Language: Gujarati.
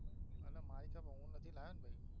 અને Bike એ મળ્યું નતુ લાયોને પહી